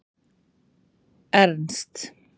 Ernst